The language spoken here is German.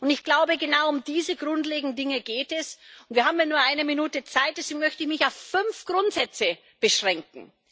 Ich glaube, genau um diese grundlegenden Dinge geht es. Wir haben ja nur eine Minute Zeit, deswegen möchte ich mich auf fünf Grundsätze beschränken.